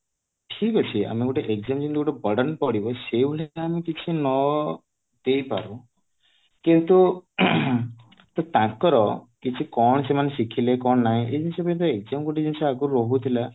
ଠିକ ଅଛି ଆମେ ଗୋଟେ exam ଯେମିତି ଗୋଟେ burden ପଡିବ ସେଇ ଅନୁଯାୟୀ ଆମେ କିଛି ନ ଦେଇ ପାରୁ କିନ୍ତୁ ତାଙ୍କର କିଛି କଣ ସେମାନେ ଶିଖିଲେ କଣ ନାଇଁ ଏଇ ଜିନିଷ ଅଆଇନ exam ଆଗରୁ ଯୋଉ ଗୋଟେ ରହୁଥିଲା